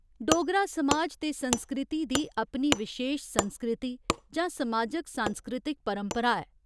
डोगरा समाज ते संस्कृति दी अपनी विशेश संस्कृति जां समाजिक सांस्कृतिक परपंरा ऐ।